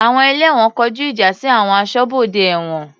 Àwọn ẹlẹ́wọ̀n kọjú ìjà sí àwọn aṣọ́bodè ẹ̀wọ̀n.